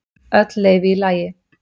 Öll leyfi í lagi.